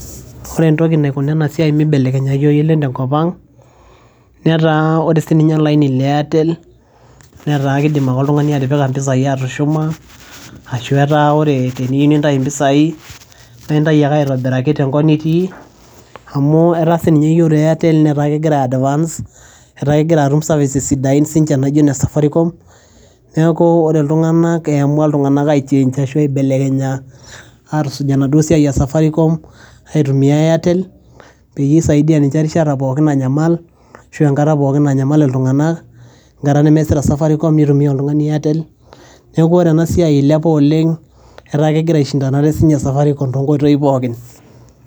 ore entoki naikuna enasiai mibelekenyai oleng tenkop ang netaa ore sininye olaini le airtel netaa kidim ake oltung'ani atipika impisai atushuma ashu etaa ore teniyu nintayi impisai naintai ake aitobiraki tenkop nitii amu etaa sininye yiolo airtel netaa kegira ae advance etaa kegira atum services sidain sinche naijo ine safaricom neeku ore iltung'anak eamua iltung'anak ae change ashu aibelekenya atusuj enaduo siai e safaricom aitumia airtel peyie isaidia ninche erishata pookin nanyamal ashu enkata pookin nanyamal iltung'anak enkata nemeasita safaricom nitumia oltung'ani airtel neku ore ena siai ilepa oleng etaa kegira aishindanare sinye safaricom tonkoitoi pookin.